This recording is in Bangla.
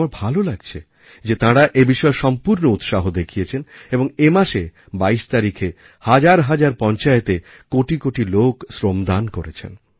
আমার ভালো লাগছে যে তাঁরা এবিষয়ে সম্পূর্ণ উৎসাহ দেখিয়েছেন এবং এমাসে ২২ তারিখে হাজার হাজার পঞ্চায়েতে কোটি কোটি লোক শ্রমদান করেছেন